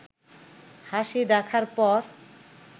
হাসি দেখার পর